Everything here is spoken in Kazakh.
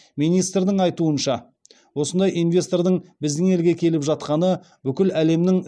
министрдің айтуынша осындай инвестордың біздің елге келіп жатқаны бүкіл әлемнің